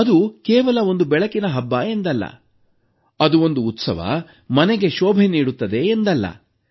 ಅದು ಕೇವಲ ಒಂದು ಬೆಳಕಿನ ಹಬ್ಬ ಎಂದಲ್ಲ ಅದು ಒಂದು ಉತ್ಸವ ಮನೆಗೆ ಶೋಭೆ ನೀಡುತ್ತದೆ ಎಂದಲ್ಲ